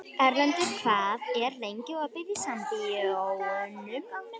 Erlendur, hvað er lengi opið í Sambíóunum?